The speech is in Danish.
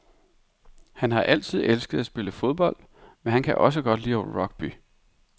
Han har altid elsket at spille fodbold, men han kan også godt lide rugby.